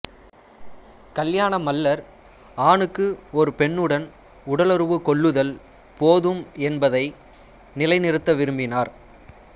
கல்யாண மல்லர் ஆணுக்கு ஒரு பெண்ணுடன் உடலுறவு கொள்ளுதல் போதும் என்பதை நிலை நிறுத்த விரும்பினார்